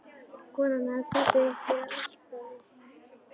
Konan hafði kropið upp við altarið.